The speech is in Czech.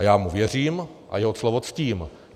A já mu věřím a jeho slovo ctím.